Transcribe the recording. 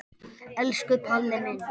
Elsku Palli minn.